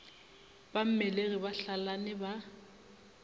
ba mmelegi ba hlalane ba